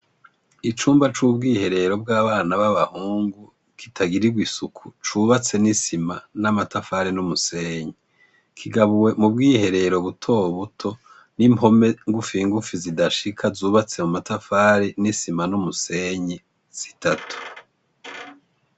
Icumba c'ubwiherero bw'abana b'abahungu kitagirirwa isuku cubatse n'isima n'amatafari n'umusenyi, kigabuwe mu bwiherero butobuto n'impome ngufi ngufi zidashika zubatse mu matafari n'isima n'umusenyi zitatu.